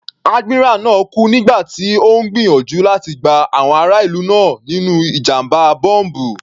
Admiral náà kú nígbà tí Ó ń gbìyànjú láti gba àwọn ará ìlú là nínú ìjàmbá bọ́m̀bù.